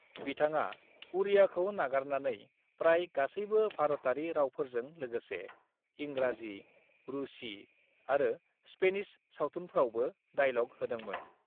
"बिथाङा उड़ियाखौ नागारनानै प्राय गासैबो भारतारि रावफोरजों लोगोसे इंराजि, रूसी आरो स्पेनिश सावथुनफ्रावबो डाइल'ग होदोंमोन।"